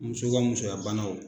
Muso ka musoyabanaw